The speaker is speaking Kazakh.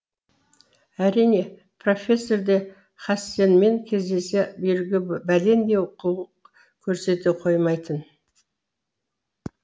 әрине профессор да хасенмен кездесе беруге бәлендей құлық көрсете қоймайтын